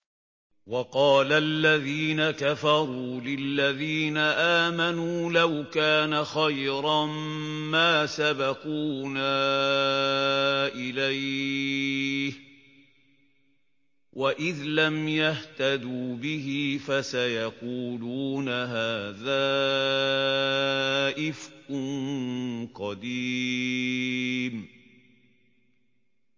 وَقَالَ الَّذِينَ كَفَرُوا لِلَّذِينَ آمَنُوا لَوْ كَانَ خَيْرًا مَّا سَبَقُونَا إِلَيْهِ ۚ وَإِذْ لَمْ يَهْتَدُوا بِهِ فَسَيَقُولُونَ هَٰذَا إِفْكٌ قَدِيمٌ